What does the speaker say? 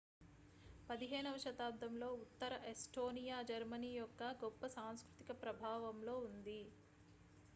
15 వ శతాబ్దంలో ఉత్తర ఎస్టోనియా జర్మనీ యొక్క గొప్ప సాంస్కృతిక ప్రభావంలో ఉంది